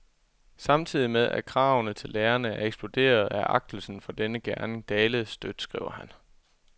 Samtidig med, at kravene til lærerne er eksploderet, er agtelsen for denne gerning dalet støt, skriver han.